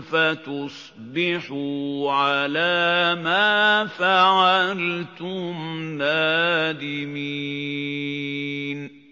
فَتُصْبِحُوا عَلَىٰ مَا فَعَلْتُمْ نَادِمِينَ